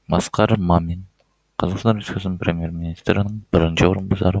асқар мамин қазақстан республикасының премьер министрінің бірінші орынбасары